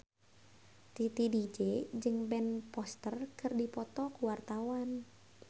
Titi DJ jeung Ben Foster keur dipoto ku wartawan